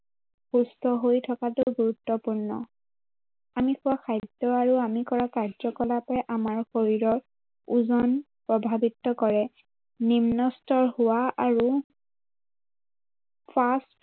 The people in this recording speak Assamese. সুস্থ হৈ থকাতো গুৰুত্বপূৰ্ণ। আমি খোৱা খাদ্য় আৰু আমি কৰা কাৰ্যকলাপে আমাৰ শৰীৰৰ ওজন প্ৰভাৱিত কৰে। নিম্নস্তৰ হোৱা আৰু fast